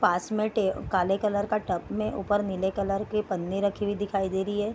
पास में टे काले कलर का टब में ऊपर नीले कलर की पन्नी रखी हुई दिखाई दे रही है।